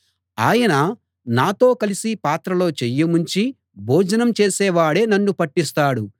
ఆయన నాతో కలిసి పాత్రలో చెయ్యి ముంచి భోజనం చేసేవాడే నన్ను పట్టిస్తాడు